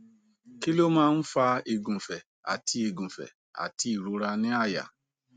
kí ló máa ń fa igunfe àti igunfe àti ìrora ni àyà